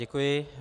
Děkuji.